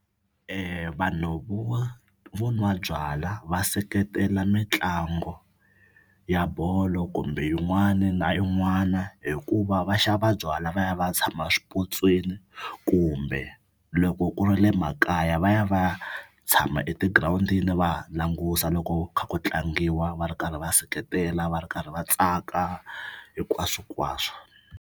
Vanhu vo vo nwa byalwa va seketela mitlangu ya bolo kumbe yin'wana na yin'wana hikuva va xava byalwa va ya va ya tshama swipotsweni kumbe loko ku ri le makaya va ya va ya tshama etigirawundini va languta loko kha ku tlangiwa va ri karhi va seketela va ri karhi va tsaka hinkwaswonkwaswo.